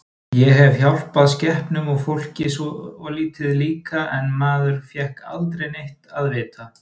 Ég hef hjálpað skepnum og fólki svolítið líka en maður fékk aldrei neitt að vita.